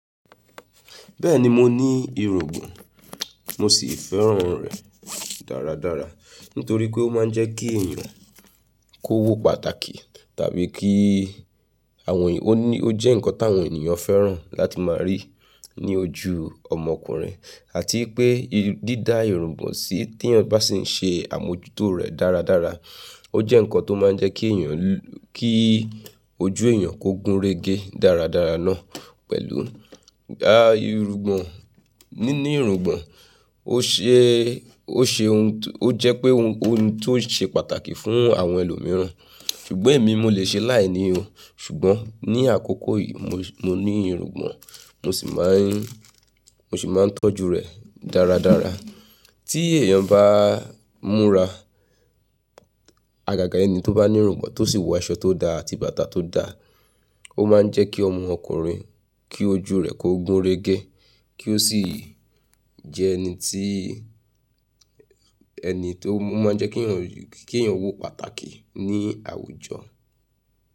Bẹ́ẹ̀ni mo ní irùngbọ̀n, mo sì fẹ́ràn rẹ̀ dáradára nítorí pé ó máa ń jẹ́ kí èèyàn kó wó pàtàkì tàbí kí àwọn ènìyàn, ó ní ó jẹ́ ǹkan táwọn èèyàn fẹ́ràn láti máa rí ní ojú ọmọkùnrin àti pé dídá irùngbọ̀n sí tí èèyàn bá sì ń ṣe àmójútó rẹ̀ dáradára ó jẹ́ ǹkan tó máa ń jẹ́ kí èèyàn, kí ojú èèyàn kó gúnrégé dáradára náà pẹ̀lú irùngbọ̀n. Níní irùngbọ̀n ó ṣe, ó ṣe ohun tó, ó jẹ́ pé ohun tó ṣe pàtàkì fún àwọn ẹlòmíràn, ṣùgbọ́n èmi mo lè ṣe láìní òun ṣùgbọ́n ní àkókò yìí mo, mo ní irùngbọ̀n mo sì máa ń, mo sì máa ń tọ́jú rẹ̀ dáradára. Tí èèyàn bá múra, àgàgà ẹni tó bá ní irùngbọ̀n tó sì wọ aṣọ tó dá àti bàtà tó dá ó máa ń jẹ́ kí ọmọkùnrin kí ojú rẹ̀ kó gúnrégé kí ó sì jẹ́ ẹni tí, ẹni tó, ó máa ń jẹ́ kí èèyàn, kí èèyàn wó pàtàkì ní àwùjọ.